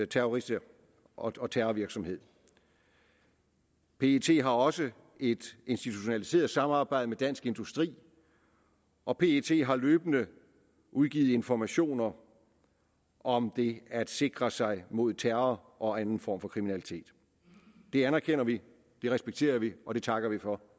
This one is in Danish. terrorister og terrorvirksomhed pet har også et institutionaliseret samarbejde med dansk industri og pet har løbende udgivet informationer om det at sikre sig mod terror og anden form for kriminalitet det anerkender vi det respekterer vi og det takker vi for